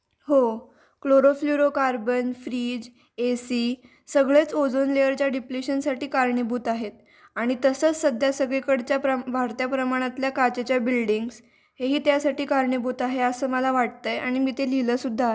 हो chlorofluorocarbon, fridge, AC सगळेच ओझोन लेअरच्या डिप्लेशन साठी कारणीभूत आहेत आणि तसंच सध्या सगळीकडेच्या वाढत्या प्रकारच्या प्रमाणातल्या काचेच्या बिल्डिंग हे त्यासाठी कारणीभूत आहे असं मला वाटतं आणि मी ते लिहिले सुद्धा लिहिलेआहे.